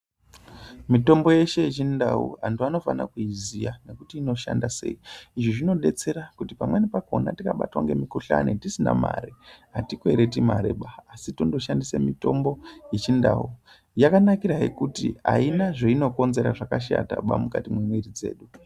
Mitombo yeshe yechindau vantu vanofana kuiziya nekuti inoshanda sei. Izvi zvinobetsera kuti pamweni pakona tikabatwa ngemukuhlani tisina mari hatikwereti mariba, asi tondoshandise mitombo yechindau yakanakirahe kuti haina zvainokonzera zvakashataba mukati memwiri dzedu.